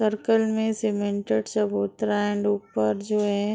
circle में cemented चबूतरा है एंड ऊपर जो है--